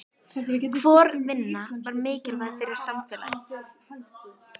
Hvor vinnan er mikilvægari fyrir samfélagið?